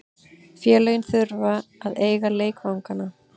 Félögin þurfa að eiga leikvangana.